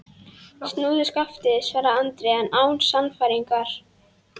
Snúðu skafti, svaraði Andri, en án sannfæringar.